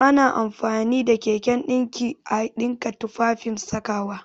Ana amfani da keken ɗinki a ɗinka tufafen sakawa